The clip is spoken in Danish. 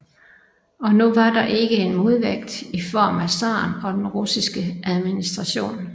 Og nu var der ikke en modvægt i form af zaren og den russiske administration